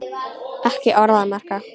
Ekki orð að marka.